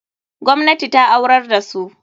Gwamnati ta aurar da su.